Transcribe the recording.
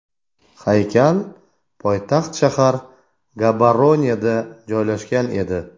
Haykal poytaxt shahar Gaboroneda joylashgan edi.